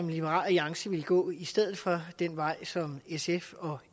liberal alliance vil gå i stedet for den vej som sf og